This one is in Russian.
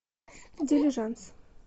дилижанс